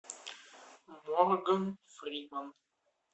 морган фриман